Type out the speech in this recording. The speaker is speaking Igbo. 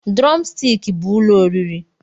Drọmstik bụ ụlọ oriri